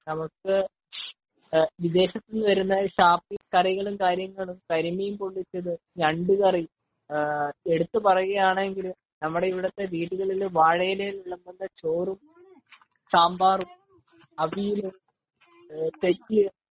വിദേശത്തു നിന്ന് വരുന്ന കറികളും കാര്യങ്ങളും ,കരിമീൻ പോളളിച്ചതും ഞണ്ടു കറി ,എടുത്തു പറയുവാണെങ്കിൽ നമ്മുടെ ഇവിടുത്തെ വീടുകളിൽ വാഴ ഇലയിൽ വിളമ്പുന്ന ചോറും സാമ്പാറും അവിയലും